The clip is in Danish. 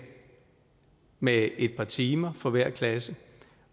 med et par timer for hver klasse